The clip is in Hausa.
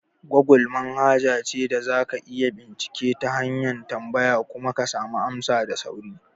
Gogul manhaja ce da za ka iya bincike ta hanyar tambaya kuma ka samu amsa da sauri.